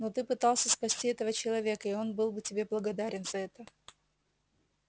но ты пытался спасти этого человека и он был бы тебе благодарен за это